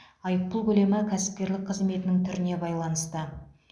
айыппұл көлемі кәсіпкерлік қызметінің түріне байланысты